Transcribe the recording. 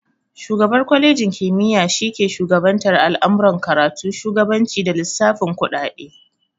Shugabar kwalenji kimiya shi ke shugabantar al'amuran karatu, shugabanci, da lissafin kuɗaɗe